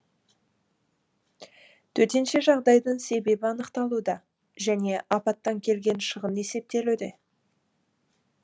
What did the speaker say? төтенше жағдайдың себебі анықталуда және апаттан келген шығын есептелуде